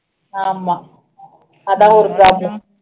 ஆமா அது தான் ஒரு problem